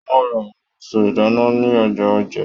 Wọn ra àwọn èso ìdáná ní ọjà Òjé.